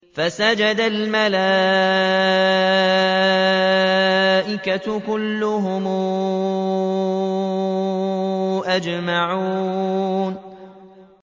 فَسَجَدَ الْمَلَائِكَةُ كُلُّهُمْ أَجْمَعُونَ